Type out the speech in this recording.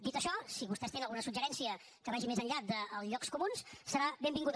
dit això si vostès tenen algun suggeriment que vagi més enllà dels llocs comuns serà benvingut